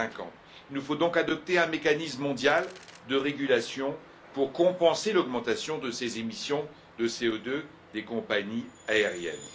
2050. Il nous faut donc adopter un mécanisme mondial de régulation pour compenser l'augmentation de ces émissions de CO2 des compagnies aériennes.